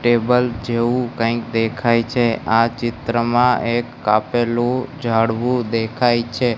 Table જેવુ કંઈક દેખાય છે. આ ચિત્રમાં એક કાપેલુ ઝાડવુ દેખાય છે.